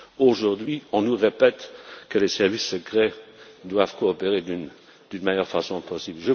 Aujourd'hui, on nous répète que les services secrets doivent coopérer de la meilleure façon possible.